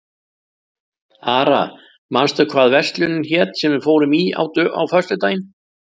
Ara, manstu hvað verslunin hét sem við fórum í á föstudaginn?